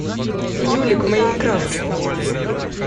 юлик майнкрафт